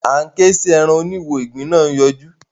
a ń ké sí èràn òní wò ìgbín nà yọjú